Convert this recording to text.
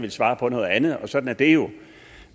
ville svare på noget andet og sådan er det jo